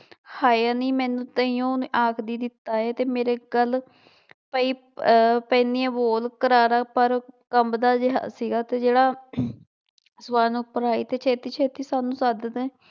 ਹਾਏ ਨੀ ਮੈਨੂੰ ਤਾਇਓ ਆਖਦੀ ਦਿੱਤਾ ਹੈ ਤੇ ਮੇਰੇ ਗੱਲ ਪਈ ਅਹ ਪੈਨੀ ਹੈ ਬੋਲ ਕਰਾਰਾ ਪਰ ਕੰਬਦਾ ਜਿਹਾ ਸੀਗਾ ਤੇ ਜਿਹੜਾ ਸਵਰਨ ਉੱਪਰ ਆਈ ਤੇ ਛੇਤੀ ਛੇਤੀ ਸਾਨੂੰ ਸੱਦਦੇ